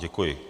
Děkuji.